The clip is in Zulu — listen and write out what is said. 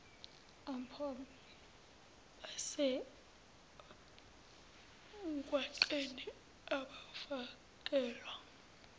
ompompi basemgwaqeni abafakelwa